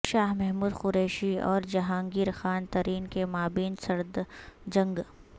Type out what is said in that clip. شاہ محمود قریشی اور جہانگیر خان ترین کے مابین سرد جنگ